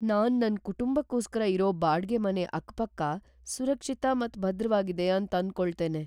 ನಾನ್ ನನ್ನ ಕುಟುಂಬಕ್ಕೋಸ್ಕರ ಇರೋ ಬಾಡ್ಗೆ ಮನೆ ಅಕ್ ಪಕ್ಕ ಸುರಕ್ಷಿತ ಮತ್ ಭದ್ರವಾಗಿದೆ ಅಂತ್ ಆಂದಕೊಳ್ತೇನೆ.